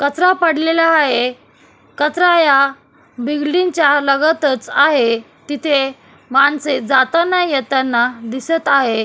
कचरा पडलेला आहे कचरा या बिल्डींगच्या लगतच आहे तिथे माणसे जाताना येताना दिसत आहे.